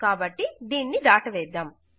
కాబట్టి దీనిని దాటవేద్దాం